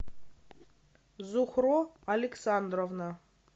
зухро александровна